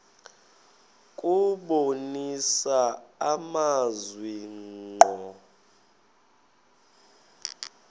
kubonisa amazwi ngqo